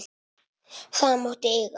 Það máttu eiga.